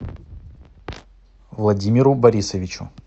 владимиру борисовичу